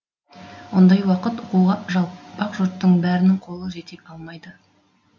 ондай уақыт оқуға жалпақ жұрттың бәрінің қолы жете алмайды